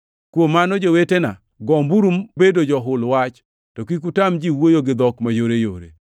Kuom mano, jowetena, gomburu bedo johul wach, to kik utam ji wuoyo gi dhok mayoreyore.